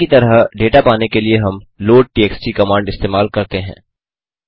array की तरह data पाने के लिए हम लोडटीएक्सटी कमांड इस्तेमाल करते हैं